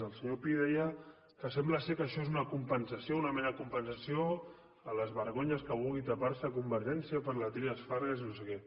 el senyor pi deia que sembla que això és una compensació una mena de compensació a les vergonyes que vulgui tapar se convergència per la trias fargas i no sé què